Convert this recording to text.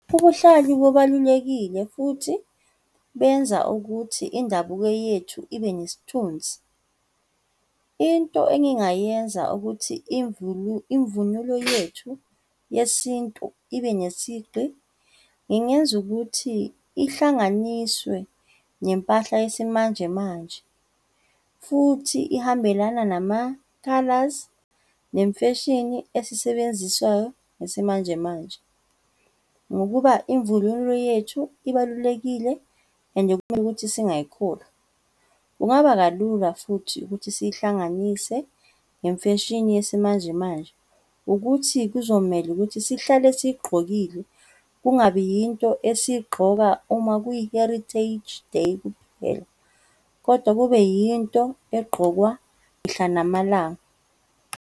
Ubuhlalu bubalulekile futhi benza ukuthi indabuko yethu ibe nesithunzi. Into engingayenza ukuthi imvunulo yethu yesintu ibe nesigqi, ngingenza ukuthi ihlanganiswe nempahla yesimanjemanje, futhi ihambelana namakhalazi, nemfeshini esiyisebenziswayo ngesimanje manje. Ngokuba imvunulo yethu ibalulekile, ende kumele ukuthi singayikhohlwa, kungaba kalula futhi ukuthi siyihlanganise nemfeshini yesimanje manje, ukuthi kuzomele ukuthi sihlale siyigqokile, kungabi yinto esiyigqoka uma kwiyi-Heritage Day kuphela, kodwa kube yinto egqokwa mihla namalanga.